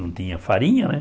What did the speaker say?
Não tinha farinha, né?